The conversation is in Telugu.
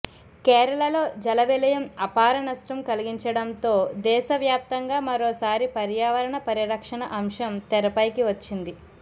కేరళలో జల విలయం అపార నష్టం కలిగించడంతో దేశవ్యాప్తంగా మరోసారి పర్యావరణ పరిరక్షణ అంశం తెరపైకి వచ్చింది